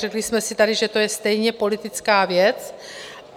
Řekli jsme si tady, že to je stejně politická věc.